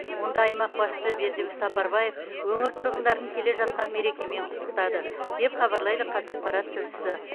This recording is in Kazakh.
онда аймақ басшысы бердібек сапарбаев өңір тұрғындарын келе жатқан мерекемен құттықтады деп хабарлайды қазақпарат тілшісі